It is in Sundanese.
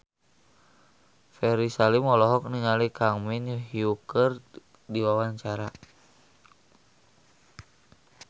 Ferry Salim olohok ningali Kang Min Hyuk keur diwawancara